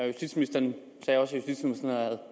justitsministeren sagde også